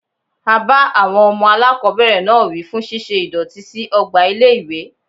A bá àwọn ọmọ aláàkọ́bẹ̀rẹ̀ náà wí fún ṣíṣe ìdọ̀tí sí ọgbà ilé ìwé.